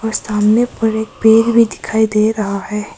सामने पर एक पेड़ भी दिखाई दे रहा है।